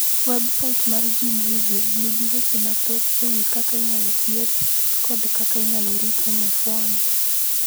Websait mar GeneReview nigi weche mathoth e wi kaka inyalo thieth kod kaka inyalo rito NF1.